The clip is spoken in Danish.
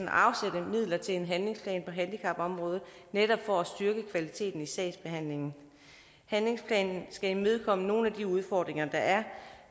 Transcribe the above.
at afsætte midler til en handlingsplan på handicapområdet netop for at styrke kvaliteten i sagsbehandlingen handlingsplanen skal imødekomme nogle af de udfordringer der er